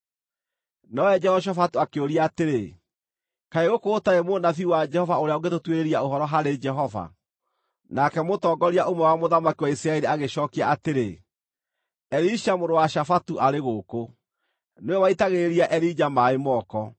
Nowe Jehoshafatu akĩũria atĩrĩ, “Kaĩ gũkũ gũtarĩ mũnabii wa Jehova ũrĩa ũngĩtũtuĩrĩria ũhoro harĩ Jehova?” Nake mũtongoria ũmwe wa mũthamaki wa Isiraeli agĩcookia atĩrĩ, “Elisha mũrũ wa Shafatu arĩ gũkũ. Nĩwe waitagĩrĩria Elija maaĩ moko.”